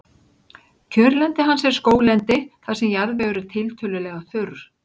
Kjörlendi hans er skóglendi þar sem jarðvegur er tiltölulega þurr.